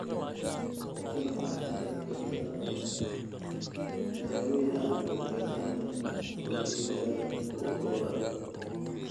Tani waxay sababi kartaa dawooyin aan badbaado lahayn oo dhiigaaga ku urura.